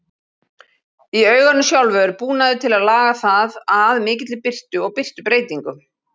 Í auganu sjálfu er búnaður til að laga það að mikilli birtu og birtubreytingum.